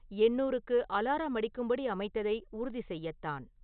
எண்ணூறுக்கு alarm அடிக்கும்படி அமைத்ததை உறுதிசெய்யத்தான்